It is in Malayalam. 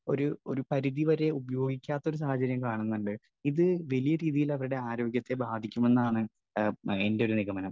സ്പീക്കർ 1 ഒരുപരിധിവരെ ഉപയോഗിക്കാത്ത ഒരു സാഹചര്യം കാണുന്നുണ്ട്. ഇത് വലിയ രീതിയിൽ അവരുടെ ആരോഗ്യത്തെ ബാധിക്കുമെന്നാണ് എന്റെ ഒരു നിഗമനം.